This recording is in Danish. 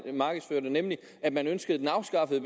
markedsførte nemlig at man ønskede den afskaffet i